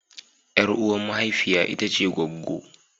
Yar uwa mahaifiya ita ce gwaggwo.